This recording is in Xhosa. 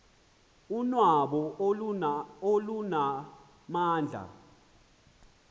unwabu olu lunamandla